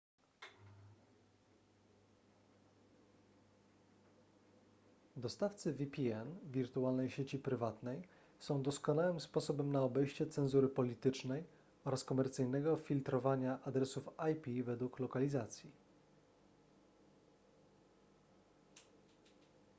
dostawcy vpn wirtualnej sieci prywatnej są doskonałym sposobem na obejście cenzury politycznej oraz komercyjnego filtrowania adresów ip według lokalizacji